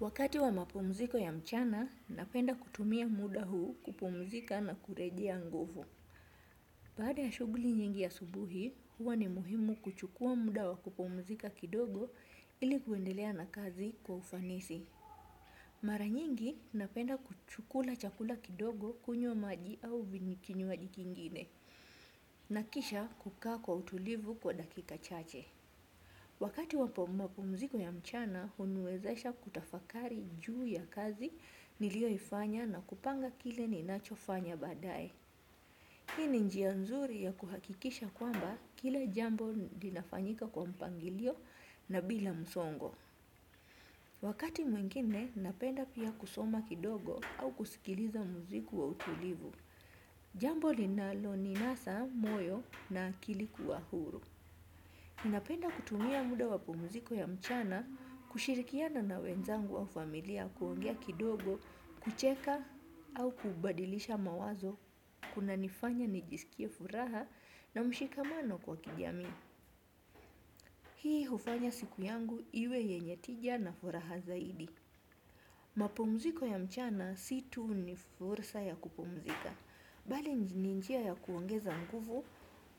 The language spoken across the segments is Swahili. Wakati wa mapumziko ya mchana, napenda kutumia muda huu kupumzika na kurejea nguvu. Baada ya shuguli nyingi asubuhi, huwa ni muhimu kuchukua muda wa kupumzika kidogo ili kuendelea na kazi kwa ufanisi. Mara nyingi napenda kuchukula chakula kidogo kunywa maji au vinikinyuaji kingine. Na kisha kukaa kwa utulivu kwa dakika chache. Wakati wapo mapumziko ya mchana, huniwezesha kutafakari juu ya kazi nilio ifanya na kupanga kile ninacho fanya baadae. Hii ni njia nzuri ya kuhakikisha kwamba kila jambo linafanyika kwa mpangilio na bila msongo. Wakati mwengine, napenda pia kusoma kidogo au kusikiliza mziku wa utulivu. Jambo linalo ninasa, moyo na akili kuwa huru. Napenda kutumia muda wa pumziko ya mchana, kushirikiana na wenzangu wa familia kuongea kidogo, kucheka au kubadilisha mawazo, kuna nifanya nijisikie furaha na mshikamano kwa kijamii. Hii hufanya siku yangu iwe yenye tija na furaha zaidi. Mapumziko ya mchana si tu ni fursa ya kupumzika. Bali ni njia ya kuongeza nguvu,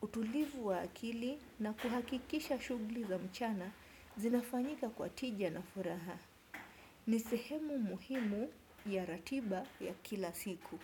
utulivu wa akili na kuhakikisha shugli za mchana zinafanyika kwa tija na furaha. Ni sehemu muhimu ya ratiba ya kila siku.